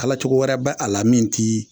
Ala cogo wɛrɛ bɛ a la min ti